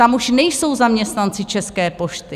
Tam už nejsou zaměstnanci České pošty.